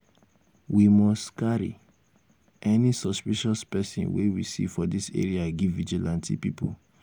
we must um carry any suspicious um person um wey we see for dis area give vigilante pipu.